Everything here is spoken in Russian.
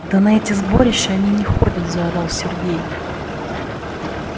да на эти сборища они не ходят заорал сергей